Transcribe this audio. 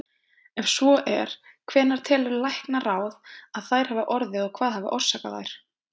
Ef svo er, hvenær telur læknaráð, að þær hafi orðið og hvað hafi orsakað þær?